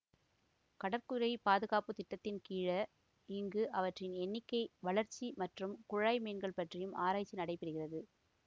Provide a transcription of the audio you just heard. கடற்குதிரை பாதுகாப்பு திட்டத்தின் கீழ இங்கு அவற்றின் எண்ணிக்கை வளர்ச்சி மற்றும் குழாய்மீன்கள் பற்றியும் ஆராய்ச்சி நடைபெறுகிறது